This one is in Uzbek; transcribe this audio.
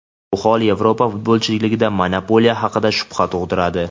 Bu hol Yevropa futbolidagi monopoliya haqida shubha tug‘diradi.